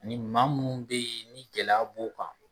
Ni maa munnu be yen ni gɛlɛya b'u kan